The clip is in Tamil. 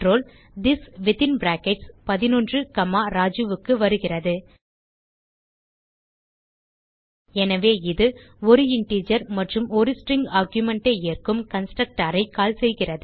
this within brackets 11 comma Raju க்கு வருகிறது எனவே இது ஒரு இன்டிஜர் மற்றும் ஒரு ஸ்ட்ரிங் ஆர்குமென்ட் ஐ ஏற்கும் கன்ஸ்ட்ரக்டர் ஐ கால் செய்கிறது